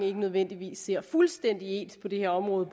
ikke nødvendigvis ser fuldstændig ens på det her område